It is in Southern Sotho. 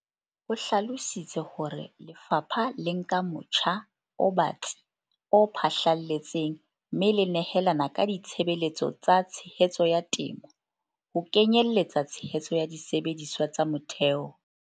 O hlalositse hore le fapha le nka motjha o batsi o phahlalletseng mme le nehelana ka ditshebeletso tsa tshehetso ya temo, ho kenye lletsa tshehetso ya disebediswa tsa motheo.